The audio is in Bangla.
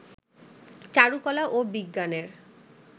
চারুকলা ও বিজ্ঞানের